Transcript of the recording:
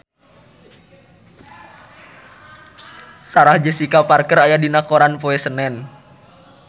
Sarah Jessica Parker aya dina koran poe Senen